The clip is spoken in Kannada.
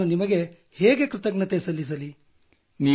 ನಾನು ನಿಮಗೆ ಹೇಗೆ ಕೃತಜ್ಞತೆ ಸಲ್ಲಿಸಲಿ